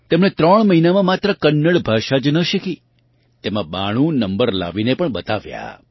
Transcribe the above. તેમણે ત્રણ મહિનામાં માત્ર કન્નડ ભાષા જ ન શીખી તેમાં 92 નંબર લાવીને પણ બતાવ્યાં